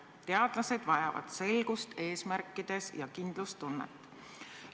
Teadlased vajavad selgust eesmärkides ja kindlustunnet.